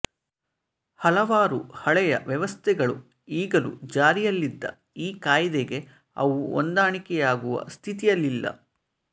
ಹಲವಾರು ಹಳೆಯ ವ್ಯವಸ್ಥೆಗಳು ಈಗಲೂ ಜಾರಿಯಲ್ಲಿದ್ದು ಈ ಕಾಯಿದೆಗೆ ಅವು ಹೊಂದಾಣಿಕೆಯಾಗುವ ಸ್ಥಿತಿಯಲ್ಲಿಲ್ಲ